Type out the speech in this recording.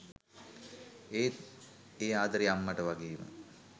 ඒත් ඒ ආදරේ අම්මට වගේම